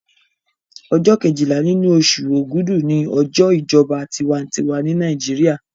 Ọjọ́ kejìlá nínú oṣù ògúdù ni ọjọ́ ìjọba tinwatinwa ní Nàìjíríà